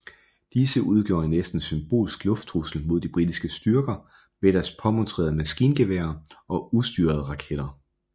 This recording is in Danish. Disse udgjorde en næsten symbolsk lufttrussel mod de britiske styrker med deres påmonterede maskingeværer og ustyrede raketter